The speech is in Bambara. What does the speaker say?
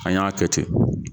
An y'a kɛ ten